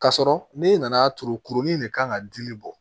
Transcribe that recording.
K'a sɔrɔ n'i nana turu kurunin de kan ka dili bɔ